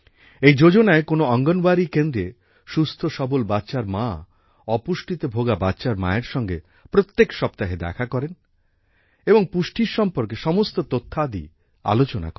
এই যোজনায় কোনো অঙ্গনওয়াড়ী কেন্দ্রে সুস্থ সবল বাচ্চার মা অপুষ্টিতে ভোগা বাচ্চার মায়ের সঙ্গে প্রত্যেক সপ্তাহে দেখা করেন এবং পুষ্টির সম্পর্কে সমস্ত তথ্যাদি আলোচনা করেন